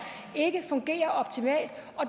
ikke fungerer optimalt